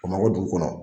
Bamakɔ dugu kɔnɔ